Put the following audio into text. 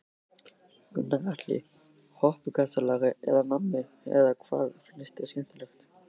Gunnar Atli: Hoppukastalar eða nammi eða hvað finnst þér skemmtilegt?